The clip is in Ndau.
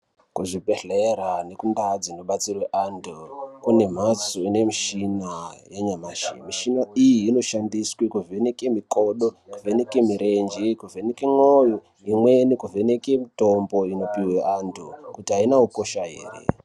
Kuzvibhedhlera ngekundau dzinobatsirwa anthu kune mphatso dzine mishina yanyamashi. Mishiini iyi inoshandiswa kuvheneke makodo, kuvheneke mirenje, kuvheneka mwoyo, imweni kuvheneke mitombo inopuwe vanthu, kuti aina ukosha ere?